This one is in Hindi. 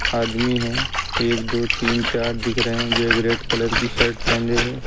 आदमी हैं एक दो तीन चार दिख रहे हैं जो एक रेड कलर की शर्ट पहने है।